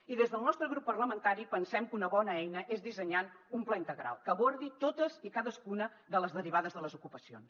i des del nostre grup parlamentari pensem que una bona eina és dissenyar un pla integral que abordi totes i cadascuna de les derivades de les ocupacions